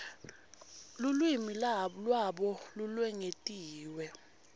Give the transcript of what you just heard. lulwimi lwabo lolwengetiwe